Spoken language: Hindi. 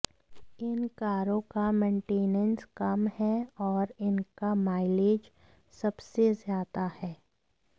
इन कारों का मैंटेनेंस कम है और इनका माइलेज सबसे ज्यादा है